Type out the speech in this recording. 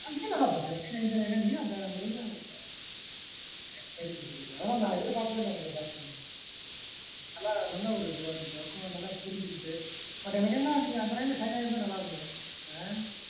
நீயும்நல்லா படிச்ச nine ninety nine நீயும் அந்த range லதான் வாங்கிருந்த right very good அதெல்லாம் நான் எதிர்பார்க்கவே இல்ல உங்க batch ல நல்ல ஒரு இதுவா இருந்துது அக்குவ நல்லா புரிஞ்சிக்கிட்டு but எனக்கு என்னன்னா அந்த line ல shine ஆயிருந்ததா நல்லாருந்துருக்கும்